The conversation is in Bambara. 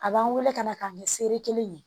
A b'an wele ka na k'a kɛ sere kelen ye